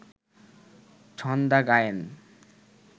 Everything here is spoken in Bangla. ছন্দা গায়েন